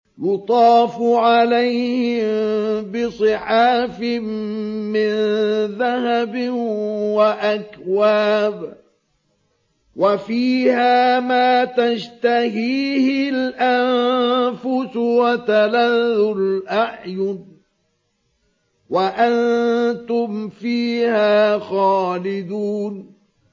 يُطَافُ عَلَيْهِم بِصِحَافٍ مِّن ذَهَبٍ وَأَكْوَابٍ ۖ وَفِيهَا مَا تَشْتَهِيهِ الْأَنفُسُ وَتَلَذُّ الْأَعْيُنُ ۖ وَأَنتُمْ فِيهَا خَالِدُونَ